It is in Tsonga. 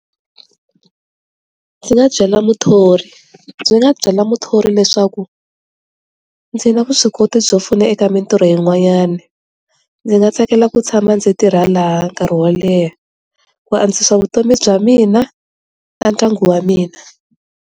Ndzi nga byela muthori byi nga byela muthori leswaku ndzi na vuswikoti byo pfuna eka mintirho yi n'wanyana ndzi nga tsakela ku tshama ndzi tirhela nkarhi wo leha ku andzisa vutomi bya mina na ndyangu wa mina.